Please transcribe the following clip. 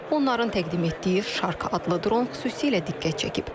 Onların təqdim etdiyi Şark adlı dron xüsusilə diqqət çəkib.